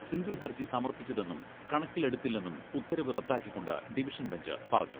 Single ഹർജി സമർപിച്ചതെന്നും കണക്കിലെടുത്തില്ലെന്നും ഉത്തരവ് റദ്ദാക്കിക്കൊണ്ട് ഡിവിഷൻ ബഞ്ച് പറഞ്ഞു.